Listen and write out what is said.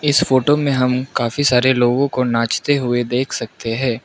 इस फोटो में हम काफी सारे लोगों को नाचते हुए देख सकते हैं।